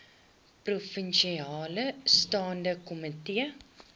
provinsiale staande komitee